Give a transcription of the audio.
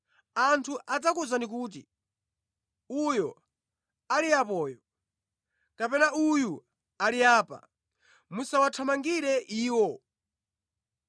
Anthu adzakuwuzani kuti, ‘Uyo ali apoyo!’ kapena ‘Uyu ali apa!’ Musawathamangire iwo.